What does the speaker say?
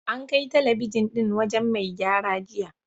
An kai talabijin ɗin wajen mai gyara jiya.